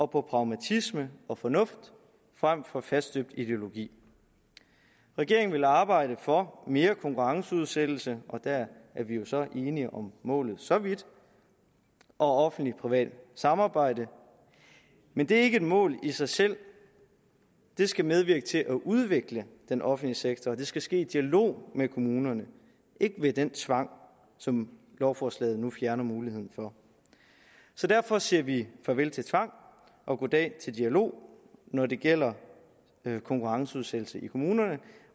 på pragmatisme og fornuft frem for faststøbt ideologi regeringen vil arbejde for mere konkurrenceudsættelse og der er vi jo så enige om målet så vidt og offentligtprivat samarbejde men det er ikke et mål i sig selv det skal medvirke til at udvikle den offentlige sektor og det skal ske i dialog med kommunerne ikke ved den tvang som lovforslaget nu fjerner muligheden for så derfor siger vi farvel til tvang og goddag til dialog når det gælder konkurrenceudsættelse i kommunerne